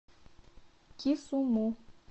кисуму